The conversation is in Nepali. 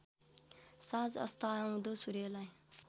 साँझ अस्ताउँदो सूर्यलाई